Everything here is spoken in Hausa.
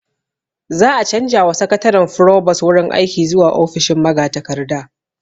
Za'a canja wa Sakataren furobos wurin aiki zuwa ofishin magatakarda